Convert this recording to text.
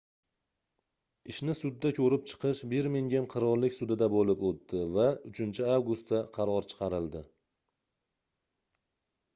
ishni sudda koʻrib chiqish birmingem qirollik sudida boʻlib oʻtdi va 3-avgustda qaror chiqarildi